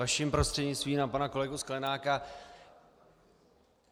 Vaším prostřednictvím na pana kolegu Sklenáka.